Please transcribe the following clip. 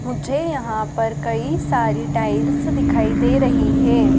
मुझे यहां पर कई सारी टाइल्स दिखाई दे रही हैं।